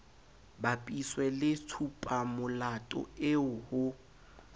bapiswe le tshupamolato eo ho